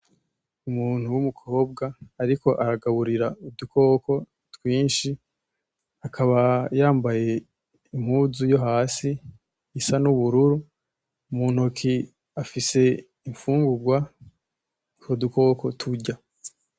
Umuntu wumukobwa ariko aragaburira udukoko twinshi, akaba yambaye impuzu yo hasi isa nubururu mu ntoki afise imfungugwa utwo dukoko turya.